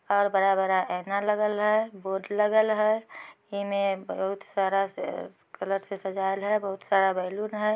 और बड़ा-बड़ा ऐना लगल है। बोर्ड लगल है। ईमे बहुत सारा कलर से सजायल है बहुत सारा बेलून है।